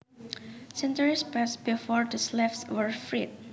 Centuries passed before the slaves were freed